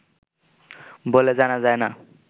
বলে জানা যায় না